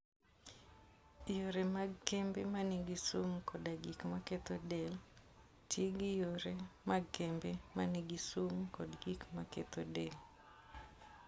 Yore mag kembe ma nigi sum koda gik maketho del, Ti gi yore mag kembe ma nigi sum kod gik maketho del.